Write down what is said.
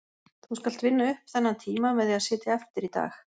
Þú skalt vinna upp þennan tíma með því að sitja eftir í dag